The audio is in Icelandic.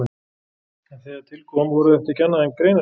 En þegar til kom voru þetta ekki annað en greinaskil.